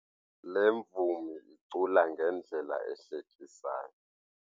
Le mvumi icula ngendlela ehlekisayo.